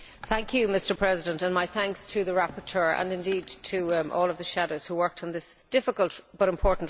Mr President, my thanks to the rapporteur and indeed to all of the shadows who worked on this difficult but important report.